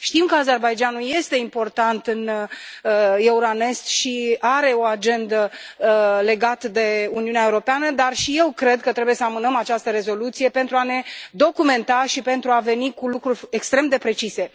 Știm că Azerbaidjanul este important în Euronest și are o agendă legată de Uniunea Europeană, dar și eu cred că trebuie să amânăm această rezoluție, pentru a ne documenta și pentru a veni cu lucruri extrem de precise.